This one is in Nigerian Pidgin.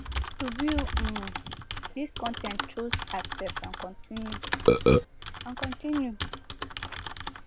to view um dis con ten t choose accept and continue and continue